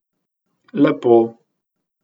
Lepo.